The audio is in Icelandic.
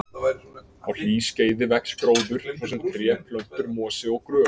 Á hlýskeiði vex gróður, svo sem tré, plöntur, mosi og grös.